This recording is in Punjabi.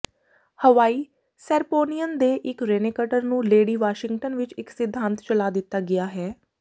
ਹਵਾਈ ਸੈਰਪੋਨੀਅਨ ਦੇ ਇਕ ਰੇਨੈਕਟਰ ਨੂੰ ਲੇਡੀ ਵਾਸ਼ਿੰਗਟਨ ਵਿਚ ਇਕ ਸਿਧਾਂਤ ਚਲਾ ਦਿੱਤਾ ਗਿਆ ਹੈ